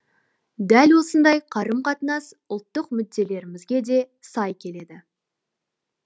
дәл осындай қарым қатынас ұлттық мүдделерімізге де сай келеді